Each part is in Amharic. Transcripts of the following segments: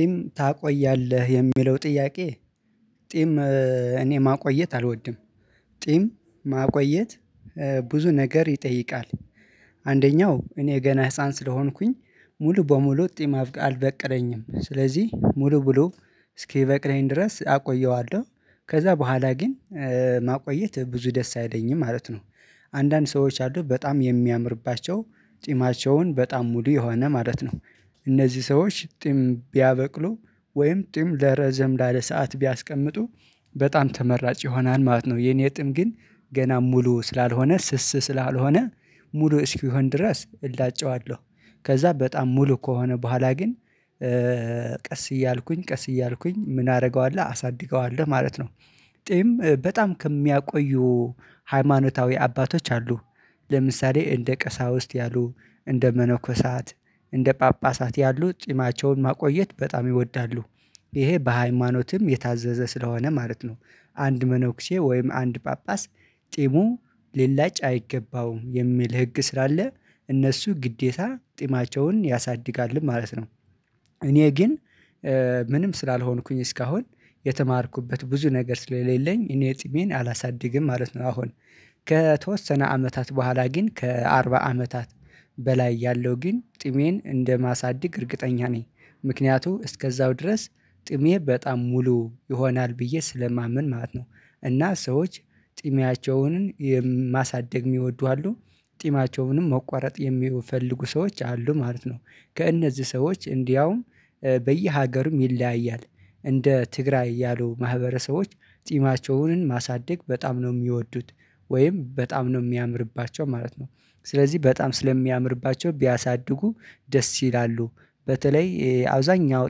ቂም ታቆያለህ የሚለው ጥያቄ? ቂም እኔ ማቆየት አልወድም። ቂም ማቆየት ብዙ ነገር ይጠይቃል። አንደኛው እኔ ገና ህፃን ስለሆንኩኝ ሙሉ በሙሉ ጺም አልበቀለኝም ስለዚህ ሙሉ በሙሉ እስኪበቅለኝ ድረስ አቆየዋለሁ። ከዛ በኋላ ግን ማቆየት ብዙ ደስ አይለኝም ማለት ነው። አንዳንድ ሰዎች አሉ በጣም የሚያምርባቸው ፂማቸውን በጣም ሙሉ የሆነ ማለት ነው። እነዚህ ሰዎች ጺም ቢያበቅሉ ወይም ጺም ረዘም ላለ ሰዓት ቢያስቀምጡ በጣም ተመራጭ ይሆናል ማለት ነው። የኔ ጺም ግን ገና ሙሉ ስላልሆነ ስስ ስላልሆነ ሙሉ እስኪሆን ድረስ እላጨዋለሁ። ከዛ በጣም ሙሉ ከሆነ በኋላ ግን ቀስ እያልኩኝ ቀስ እያልኩኝ ምን አደርገዋለሁ አሳድገዋለሁ ማለት ነው። ጢም በጣም ከሚያቆዩ ሃይማኖታዊ አባቶች አሉ። ለምሳሌ እንደ ቀሳውስት ያሉ እንደ መነኮሳት እንደ ጳጳሳት ያሉ ጺማቸውን ማቆየት በጣም ይወዳሉ። ይሄ በሃይማኖትም የታዘዘ ስለሆነ ማለት ነው። አንድ መነኩሴ ወይም አንድ ጳጳስ ጢሙ ሊላጭ አይገባውም የሚል ህግ ስላለ እነሱ ግዴታ ጢማቸውን ያሳድጋሉ ማለት ነው። እኔ ግን ምንም ስላልሆንኩኝ እስካሁን የተማርኩበት ብዙ ነገር ስለሌለኝ እኔ ጢሜን አላሳድግም ማለት ነው። አሁን ከተወሰነ አመታት በኋላ ግን ከአርባ አመታት በላይ ያለው ግን ጢሜን እንደማሳደግ እርግጠኛ ነኝ። ምክንያቱም እስከዛው ድረስ ጢሜ በጣም ሙሉ ይሆናል ብዬ ስለማምን ማለት ነው። እና ሰዎች ጢሜያቸውን የማሳደግ የሚወዱ አሉ ጢማያቸውንም መቆረጥ የሚፈልጉ ሰዎች አሉ ማለት ነው። ከእነዚህ ሰዎች እንዲያውም በየሀገሩም ይለያያል እንደ ትግራይ ያሉ ማህበረሰቦች ጢማቸውን ማሳደግ በጣም ነው የሚወዱት። ወይም በጣም ነው የሚያምርባቸው ማለት ነው። ስለዚህ በጣም ስለሚያምርባቸው ቢያሳድጉ ደስ ይላሉ። በተለይ አብዛኛው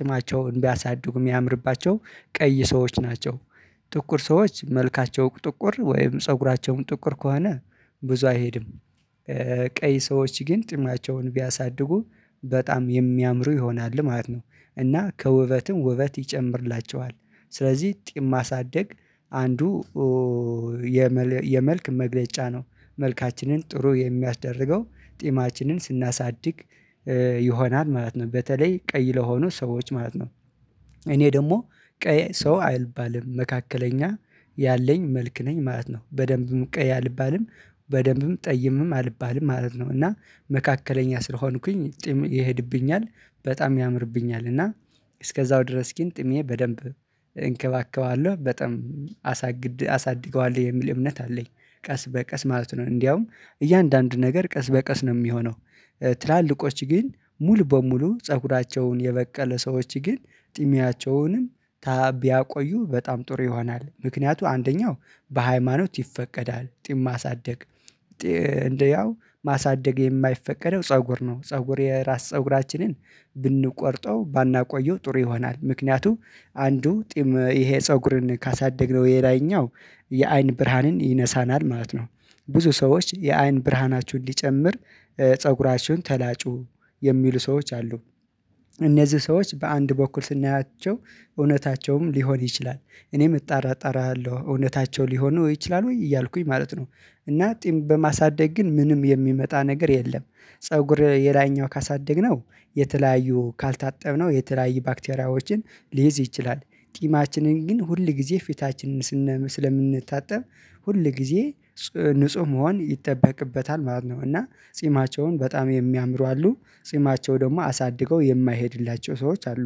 ጢማቸውን ቢያሳድጉ የሚያምርባቸው ቀይ ሰዎች ናቸው። ጥቁር ሰዎች መልካቸው ጥቁር ወይም ፀጉራቸም ጥቁር ከሆነ ብዙ አይሄድም። ቀይ ሰዎች ግን ጢማቸውን ቢያሳድጉ በጣም የሚያምሩ ይሆናል ማለት ነው። እና ከውበትም ውበት ይጨምርላቸዋል። ስለዚህ ጢም ጢማሳደግ አንዱ የመልክ መግለጫ ነው። መልካችንን ጥሩ የሚያስደርገው ጢማችንን ስናሳድግ ይሆናል ማለት ነው። በተለይ ቀይ ለሆኑ ሰዎች ማለት ነው። እኔ ደግሞ ቀይ ሰው አልባልም መካከለኛ ያለኝ መልክ ነኝ ማለት ነው። በደንብም ቀይ አልባልም በደንብም ጠይምም አልባልም ማለት ነው። እና መካከለኛ ስለሆንኩኝ ጢም ይሄድብኛል በጣም ያምርብኛል እና እስከዛው ድረስ ግን ጥሜ በደንብ እንከባከባለሁ በጣም አሳድገዋለሁ የሚል እምነት አለኝ። ቀስ በቀስ ማለት ነው እንደውም እያንዳንዱ ነገር ቀስ በቀስ ነው የሚሆነው። ትላልቆች ግን ሙሉ በሙሉ ፀጉራቸውን የበቀለ ሰዎች ግን ጥሚያቸውንም ቢያቆዩ በጣም ጥሩ ይሆናል። ምክንያቱም አንደኛው በሃይማኖት ይፈቀዳል ጢም ማሳደግ እንደያው ማሳደግ የማይፈቀደው ፀጉር ነው። ፀጉር የራስ ፀጉራችንን ብንቆርጠው ባናቆየው ጥሩ ይሆናል። ምክንያቱም አንዱ ጢም ይሄ ፀጉርን ካሳደግነው የላይኛው የአይን ብርሃንን ይነሳናል ማለት ነው። ብዙ ሰዎች የአይን ብርሃናችሁን ሊጨምር ፀጉራችሁን ተላጩ የሚሉ ሰዎች አሉ። እነዚህ ሰዎች በአንድ በኩል ስናያቸው እውነታቸውም ሊሆን ይችላል። እኔም እጠራጠራሃለሁ እውነታቸው ሊሆን ነው ይችላል ወይ እያልኩኝ ማለት ነው። እና ጢም በማሳደግ ግን ምንም የሚመጣ ነገር የለም። ፀጉር የላይኛው ካሳደግነው የተለያዩ ካልታጠብነው የተለያዩ ባክቴሪያዎችን ሊይዝ ይችላል። ጢማችንን ግን ሁል ጊዜ ፊታችንን ስለምንታጠብ ሁል ጊዜ ንጹህ መሆን ይጠበቅበታል ማለት ነው። እና ጺማቸውን በጣም የሚያምሩ አሉ። ጺማቸው ደግሞ አሳድገው የማይሄድላቸው ሰዎች አሉ።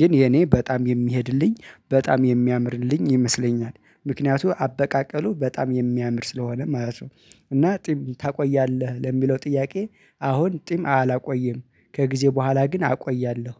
ግን የኔ በጣም የሚሄድልኝ በጣም የሚያምርልኝ ይመስለኛል። ምክንያቱም አበቃቀሉ በጣም የሚያምር ስለሆነ ማለት ነው። እና ጢም ታቆያለህ ለሚለው ጥያቄ? አሁን ጢም አላቆይም። ከጊዜ በኋላ ግን አቆያለሁ።